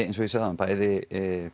eins og ég sagði áðan bæði